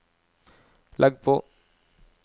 legg på